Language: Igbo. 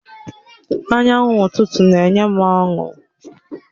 Anyanwụ ụtụtụ na-enye m ọṅụ.